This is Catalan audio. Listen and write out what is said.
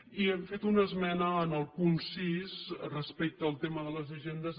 i hem fet una esmena en el punt sis respecte al tema de les agendes